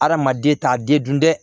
Hadamaden t'a den dun dɛ